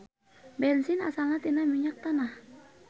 Bensin asalna tina minyak tanah.